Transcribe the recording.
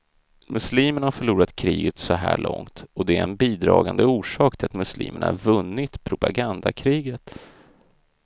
Muslimerna har förlorat kriget så här långt, och det är en bidragande orsak till att muslimerna vunnit propagandakriget.